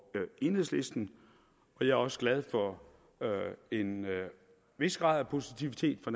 enhedslisten jeg er også glad for en vis grad af positivitet fra